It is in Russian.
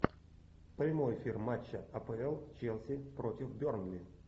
прямой эфир матча апл челси против бернли